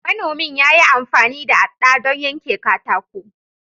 Manomin ya yi amfani da aɗɗa don yanke katako.